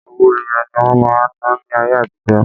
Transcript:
Owó ẹyọ ni wọ́n máa ń ná ní ayé àtijọ́.